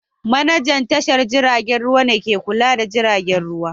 Manajan tashar jiragen ruwa ne ke kula da tashar jiragen ruwa